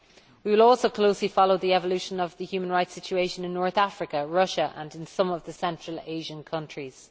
We will also closely follow developments in the human rights situation in North Africa, Russia and in some of the Central Asian countries.